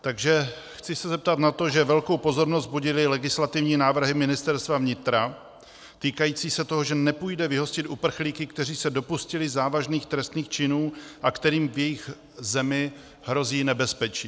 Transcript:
Takže chci se zeptat na to, že velkou pozornost budily legislativní návrhy Ministerstva vnitra týkající se toho, že nepůjde vyhostit uprchlíky, kteří se dopustili závažných trestných činů a kterým v jejich zemi hrozí nebezpečí.